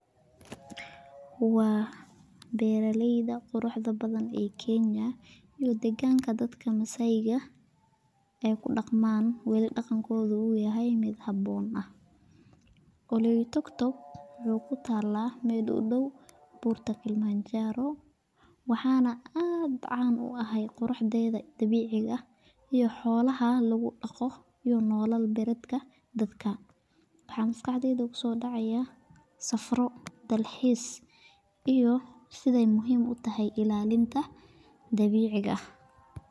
Waa beeraleyda quruxda badan ee Kenya iyo deeganka dadka masaayda, ee ku daqmaan weli daqankooda uu yahay mid haboon, oloitokitok waxaay ku taala meel udow buurta kalimanjaro, waxaana aad caan u ah quruxdeeda dabiiciga ah iyo xoolaha lagu daqo iyo nolol baladka dadka, waxaa maskaxdeyda kusoo dacaaya safaro, dalxiis iyo sidaay muhiim utahay ilaalinta dabiiciga ah.